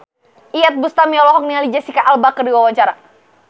Iyeth Bustami olohok ningali Jesicca Alba keur diwawancara